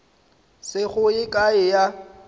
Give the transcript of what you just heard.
se go ye kae ya